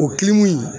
O kilgu in